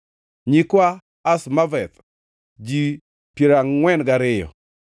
nyikwa Azmaveth, ji piero angʼwen gariyo (42),